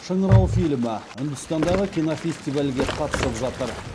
шыңырау фильмі үндістандағы кинофестивальге қатысып жатыр